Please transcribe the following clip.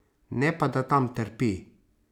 Ne pa da tam trpi.